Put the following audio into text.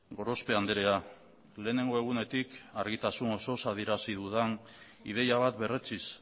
gorospe andrea lehenengo egunetik argitasun osoz adierazi dudan ideia bat berretsiz